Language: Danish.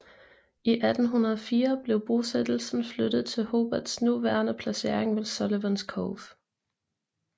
I 1804 blev bosættelsen flyttet til Hobarts nuværende placering ved Sullivans Cove